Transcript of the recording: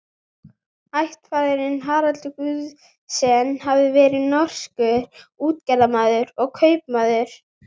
Ættfaðirinn Harald Guðjón- sen hafði verið norskur útgerðarmaður og kaupmaður.